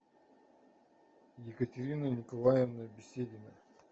екатерина николаевна беседина